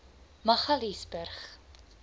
magaliesburg